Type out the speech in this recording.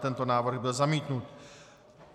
Tento návrh byl zamítnut.